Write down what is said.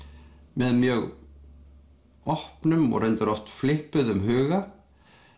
með mjög opnum og reyndar oft huga